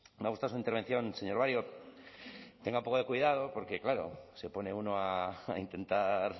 me ha gustado su intervención señor barrio tenga un poco de cuidado porque claro se pone uno a intentar